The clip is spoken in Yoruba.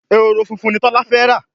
Ehoro fúnfún ní Tola fè rá